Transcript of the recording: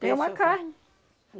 Tem uma carne.